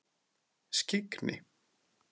Skyggni